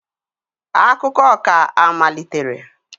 Akụkọ ka amaliteri